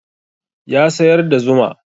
Ya sayar da zuma